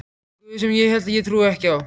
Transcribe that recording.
guð sem ég held ég trúi ekki á.